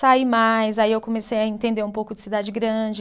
Saí mais, aí eu comecei a entender um pouco de cidade grande.